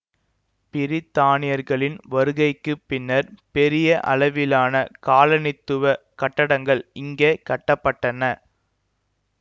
பிரித்தானியர்களின் வருகைக்கு பின்னர் பெரிய அளவிலான காலனித்துவக் கட்டடங்கள் இங்கே கட்ட பட்டன